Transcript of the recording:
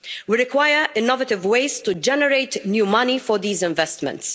We require innovative ways to generate new money for these investments.